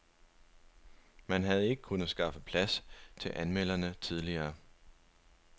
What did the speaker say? Man havde ikke kunnet skaffe plads til anmelderne tidligere.